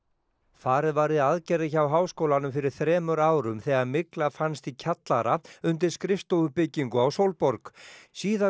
farið var í aðgerðir hjá Háskólanum fyrir þremur árum þegar mygla fannst í kjallara undir skrifstofubyggingu á Sólborg síðar